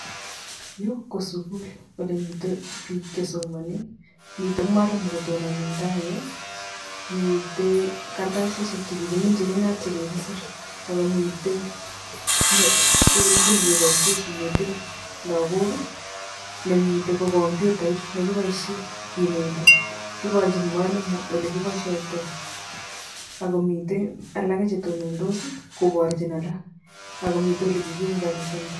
Yu ko sukul wole mito biik che somane. Mito mwalimu kotonone eng tai yu, mite karatasishek che kikiminchi naat che kikisir, akomiten um kii ne kiboishe kinete lakok, ne mite ko komyutait ne kiboishe kineti. Iborjin mwalimu ole kiboishoitoi akumite alake che tonondos koborjin alak. akumiten ole kikiunganishanda.